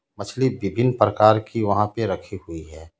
मछली बिभिन्न प्रकार की वहां पे रखी हुई है.